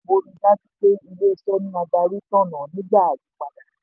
ètò olùgbapò rí i dájú pé ilé-iṣẹ́ ní adarí tọ̀nà nígbà àyípadà.